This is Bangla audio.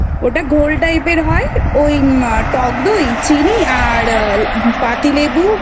ওটা ঘোল type হয় ওই টক দই চিনি আর পাতিলেবু